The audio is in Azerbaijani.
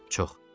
Çox.